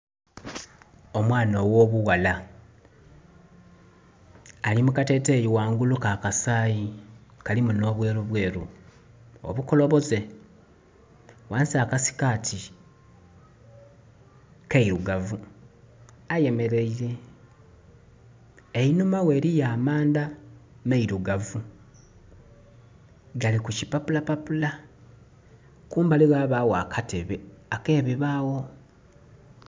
Omwaana ogho bughala ali mu kateteyi ghangulu ka kasayi kalimu nho bweru bweru obukoboze, ghansi akasikati keirugavu ayemereire einhuma ghe eri amanda meirugavu gali ku kipapula papula, kumbali ghabagho akatebe ake bibagho.